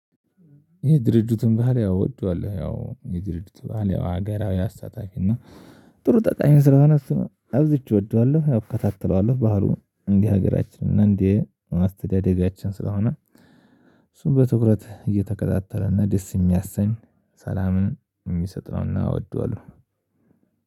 ይሄ ድርጅቱን ባህል ያው እወደዋለው፣ ያው የድርጅቱን ባህል ያው ሀገራዊ አስተታታፊ እና ጥሩ ጠቃሚን ስለሆነ እሱ ነው አብዝቼ እወደዋለሁ። እከታተለዋለሁ፣ ባህሩን እንደ ሀገራችን፤ እንድ አስተዳደጋችን ስለሆነ እሱን በትኩረት እየተከታተለ እና ደስ የሚያሰኝ ሰላምን የሚሰጥ ነው እና እወደዋለሁ።